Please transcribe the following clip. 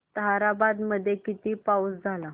ताहराबाद मध्ये किती पाऊस झाला